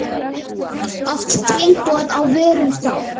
Oft tilboð, á vörum þá.